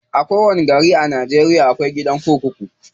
A kowanni gari a Najeriya akwai gidan kurkuku.